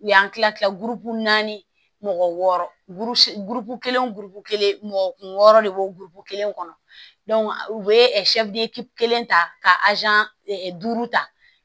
U y'an kila kila naani mɔgɔ wɔɔrɔ kelen wo kelen mɔgɔ kun wɔɔrɔ de bɛ bɔ burukuru kelen kɔnɔ u bɛ kelen ta ka duuru ta